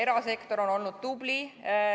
Erasektor on olnud tubli.